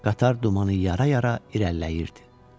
Qatar dumanı yara-yara irəliləyirdi.